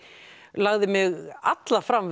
lagði mig alla fram